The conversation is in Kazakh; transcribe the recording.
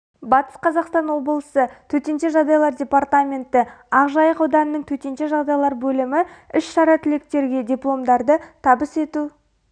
батыс қазақстан облысы төтенше жағдайлар департаменті ақжайық ауданының төтенше жағдайлар бөлімі іс-шара түлектерге дипломдарды табыс ету